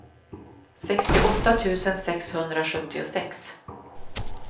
sextioåtta tusen sexhundrasjuttiosex